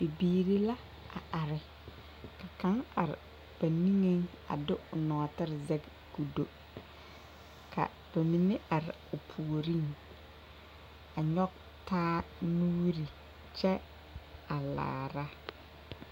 Bibiiri la a are ka kaŋ are ba niŋeŋ a de o nɔɔtere zɛge k,o do ka ba mine are o puoriŋ a nyɔge taa nuuri kyɛ a laara.